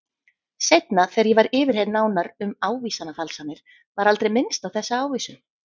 Seinna þegar ég var yfirheyrð nánar um ávísanafalsanirnar var aldrei minnst á þessa ávísun.